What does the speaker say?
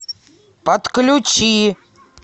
подключи